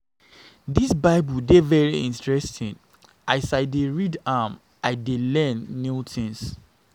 Dis bible dey very interesting as I dey read am, I dey learn new things